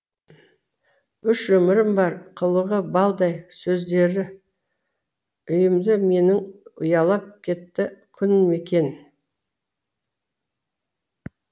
үш өмірім бар қылығы балдай сөздері үйімді менің ұялап етті күн мекен